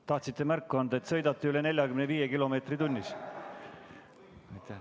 Tahtsite märku anda, et sõidate üle 45 kilomeetri tunnis.